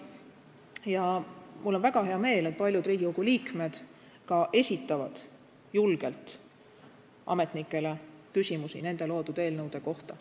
Ja mul on väga hea meel, et paljud Riigikogu liikmed esitavad julgelt ametnikele küsimusi nende loodud eelnõude kohta.